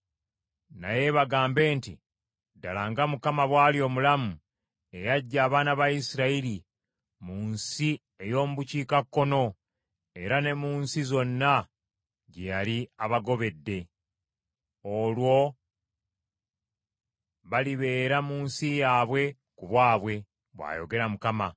naye bagambe nti, ‘Ddala nga Mukama bw’ali omulamu, eyaggya abaana ba Isirayiri mu nsi ey’omu bukiikakkono era ne mu nsi zonna gye yali abagobedde.’ Olwo balibeera mu nsi yaabwe ku bwabwe,” bw’ayogera Mukama .